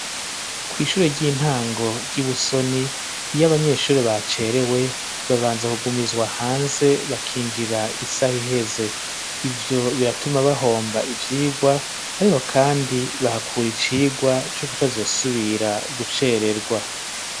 Kw' ishuri ry'intango, ry'ibusoni ,iy'abanyeshuri bacerewe, babanza kugumizwa hanze ,bakinjira isaha iheze, ivyo biratuma bahomba ivyigwa, ariko kandi bahakura icigwa, co kutazosubira gucererwa.